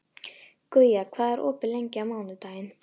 Guja, hvað er opið lengi á mánudaginn?